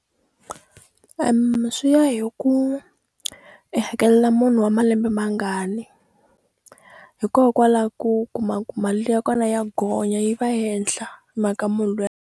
swi ya hi ku i hakelela munhu wa malembe mangani hikokwalaho ku kuma ku mali ya kona ya gonya yi va henhla hi mhaka munhu .